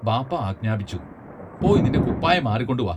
ബാപ്പാ ആജ്ഞാപിച്ചു പോയി നിന്റെ കുപ്പായം മാറിക്കൊണ്ടുവാ.